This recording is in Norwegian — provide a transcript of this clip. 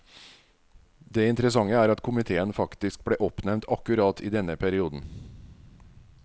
Det interessante er at komiteen faktisk ble oppnevnt akkurat i denne perioden.